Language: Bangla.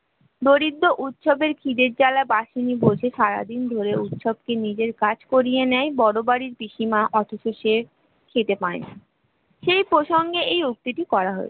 দরিদ্র উৎসবের খিদের জ্বালা বাহিনী বসে সারাদিন ধরে উৎসবকে নিজের কাজ করিয়ে নেয় বড় বাড়ির পিসিমা খেতে পায়না সেই প্রসঙ্গে এই উক্তিটি করা হয়েছে